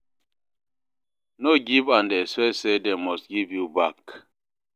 No give and expect say dem must give you back